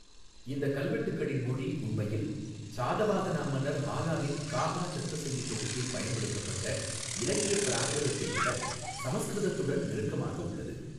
இந்த கல்வெட்டுகளின் மொழி உண்மையில், சாதவாஹனா மன்னர் ஹாலாவின் காஹா சத்தஸயீ தொகுப்பில் பயன்படுத்தப்பட்ட இலக்கிய ப்ராகிருதத்தை விட, சமஸ்கிருதத்துடன் நெருக்கமாக உள்ளது.